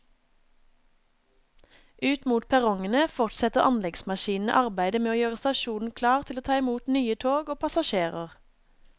Ut mot perrongene fortsetter anleggsmaskinene arbeidet med å gjøre stasjonen klar til å ta imot nye tog og passasjerer.